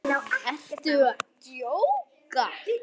Ertu að djóka?